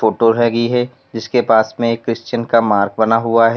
Photo हैगी है जिसके पास में एक क्रिश्चियन का मार्क बना हुआ है।